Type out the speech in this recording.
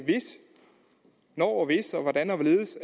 når og hvis og hvordan og hvorledes